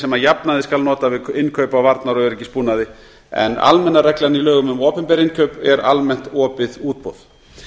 sem að jafnaði skal nota við innkaup á varnar og öryggisbúnaði en almenna reglan í lögum um opinber innkaup er almennt opið útboð